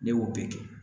Ne y'o bɛɛ kɛ